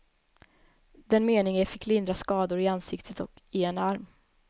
Den menige fick lindriga skador i ansiktet och i en arm.